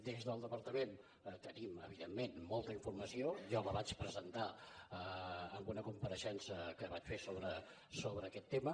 des del departament tenim evidentment molta informació jo la vaig presentar en una compareixença que vaig fer sobre aquest tema